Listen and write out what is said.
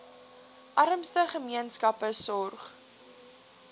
armste gemeenskappe sorg